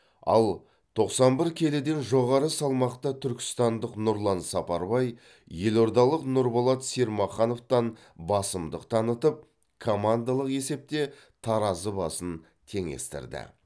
ал тоқсан бір келіден жоғары салмақта түркістандық нұрлан сапарбай елордалық нұрболат сермахановтан басымдық танытып командалық есепте таразы басын теңестірді